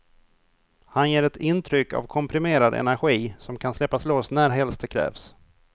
Han ger ett intryck av komprimerad energi, som kan släppas loss närhelst det krävs.